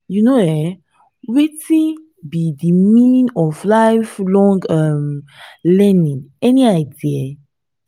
you know um wetin be di meaning of lifelong um learning any idea?